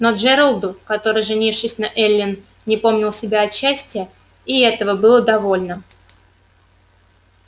но джералду который женившись на эллин не помнил себя от счастья и этого было довольно